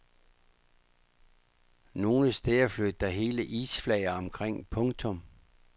Nogle steder flød der hele isflager omkring. punktum